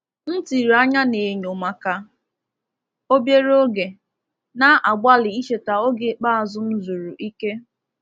M tiri anya n’enyo maka obere oge, na-agbalị icheta oge ikpeazụ m zuru ike.